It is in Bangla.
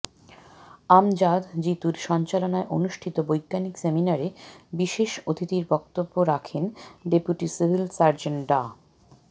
আমজাদ জিতুর সঞ্চালনায় অনুষ্ঠিত বৈজ্ঞানিক সেমিনারে বিশেষ অতিথির বক্তব্য রাখেন ডেপুটি সিভিল সার্জন ডা